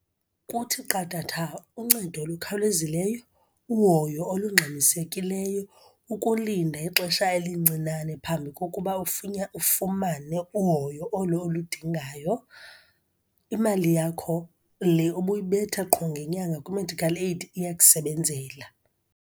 Kuthi qathatha uncedo olukhawulezileyo, uhoyo olungxamisekileyo, ukulinda ixesha elincinane phambi kokuba ufumane uhoyo olo oludingayo. Imali yakho le ubuyibetha qho ngenyanga kwi-medikhal eyidi iyakusebenzela.